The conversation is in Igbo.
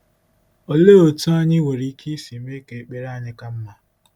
Olee otú anyị nwere ike isi mee ka ekpere anyị ka mma?